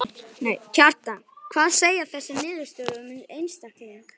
Kjartan: Hvað segja þessar niðurstöður um einstakling?